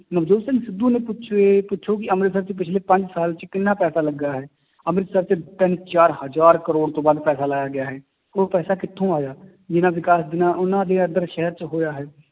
ਨਵਜੋਤ ਸਿੰਘ ਸਿੱਧੂ ਨੇ ਪੁਛੋ ਇਹ ਪੁੱਛੋ ਕਿ ਅੰਮ੍ਰਿਤਸਰ 'ਚ ਪਿੱਛਲੇ ਪੰਜ ਸਾਲ 'ਚ ਕਿੰਨਾ ਪੈਸਾ ਲੱਗਾ ਹੈ, ਅੰਮ੍ਰਿਤਸਰ 'ਚ ਤਿੰਨ ਚਾਰ ਹਜ਼ਾਰ ਕਰੌੜ ਤੋਂ ਵੱਧ ਪੈਸਾ ਲਾਇਆ ਗਿਆ ਹੈ, ਉਹ ਪੈਸਾ ਕਿੱਥੋਂ ਆਇਆ, ਜਿੰਨਾ ਵਿਕਾਸ ਜਿੰਨਾ ਉਹਨਾਂ ਦੇ ਇੱਧਰ ਸ਼ਹਿਰ 'ਚ ਹੋਇਆ ਹੈ,